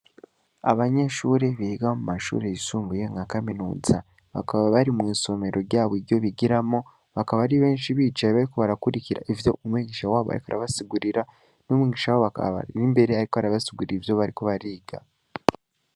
Abanyeshure biga mu mashure yisumbuye nka kaminuza bakaba bari mw'isomero ryabo iryo bigiramwo, bakaba ari benshi bicaye bariko barakurikira ivyo umwigisha wabo ariko arabasugurira, n'umwigisha wabo akaba ari imbere ariko arabasigurira ivyo bariko bariga.